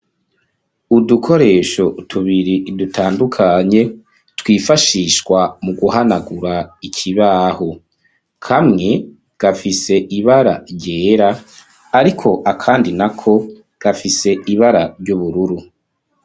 Udukoresho tubiri dutandukanye, twifashishwa mu guhanagura ikibaho. Kamwe gafise ibara ryera, ariko akandi na ko gafise ibara ry'ubururu.